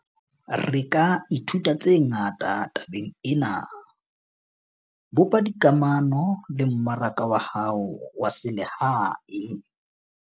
Re ka ithuta tse ngata tabeng ena - bopa dikamano le mmaraka wa hao wa selehae.